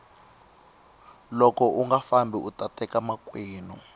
loko unga fambi uta teka makwenu